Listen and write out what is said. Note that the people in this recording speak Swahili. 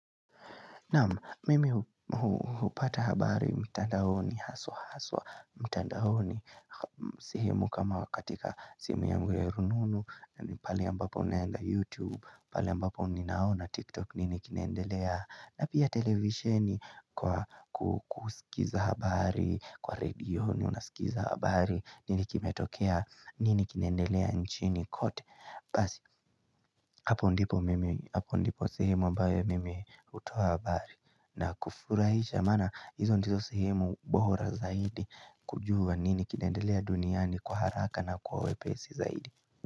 Nama, mimi hupata habari mtandaoni, haswa haswa, mtandaoni sehemu kama katika simu yangu ya rununu, pale ambapo naenda youtube, pale ambapo ninaona tiktok nini kinaendelea na pia televisioni kwa kusikiza habari, kwa redio ni unasikiza habari, nini kimetokea nini kinaendelea nchini kote basi hapo ndipo mimi, hapo ndipo sehemu ambaye mimi hutuoa habari na kufurahisha maana hizo ndizo sehemu bora zaidi kujua nini kinendelea duniani kwa haraka na kwa uwepesi zaidi.